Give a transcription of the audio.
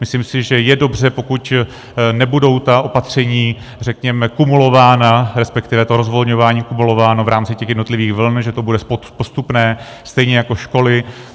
Myslím si, že je dobře, pokud nebudou ta opatření, řekněme, kumulována, respektive to rozvolňování kumulováno v rámci těch jednotlivých vln, že to bude postupné, stejně jako školy.